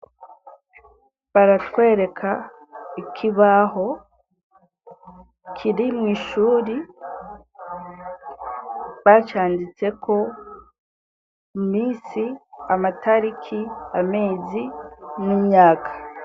baratwereka ikibaho kiri mw’ ishuri bacanditseko iminsi, amatariki, amezi n'imyaka.